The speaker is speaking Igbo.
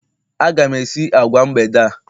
Aga m esi agwa mgbede a